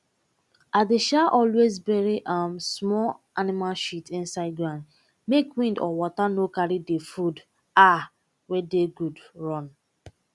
i dey um always bury um small animal shit inside ground make wind or water no go carry the food um wey dey good run